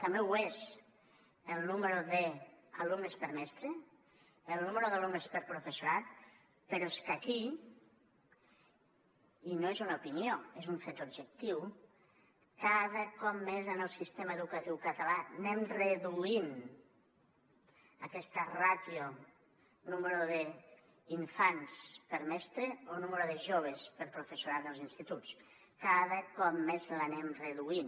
també ho és el nombre d’alumnes per mestre el nombre d’alumnes per professorat però és que aquí i no és una opinió és un fet objectiu cada cop més en el sistema educatiu català anem reduint aquesta ràtio nombre d’infants per mestre o nombre de joves per professorat als instituts cada cop més l’anem reduint